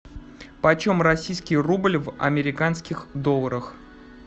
почем российский рубль в американских долларах